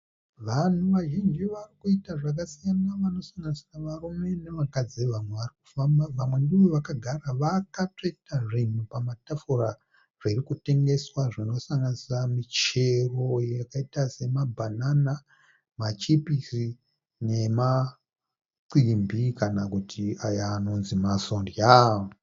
Vanhu vazhinji varikuita zvakasiyana vanosanganisira varume nevakadzi vamwe varikufamba vamwe ndivo vakagara vakatsveta zvinhu pamatafura zvirikutengeswa zvinosanganisa michero yakaita semabhanana, machipisi nemacimbi kana kuti aya anonzi masondya.